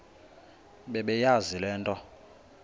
bebeyazi le nto